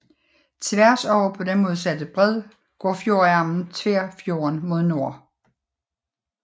Tværs over på den modsatte bred går fjordarmen Tverrfjorden mod nord